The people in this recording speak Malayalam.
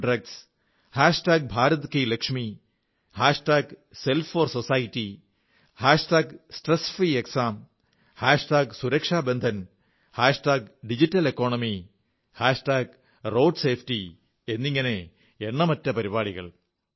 no to drugs Bharat ki Lakshmi self for society stress free exam Suraksha Bandhan digital economy road safety എന്നിങ്ങനെ എണ്ണമറ്റ പരിപാടികൾ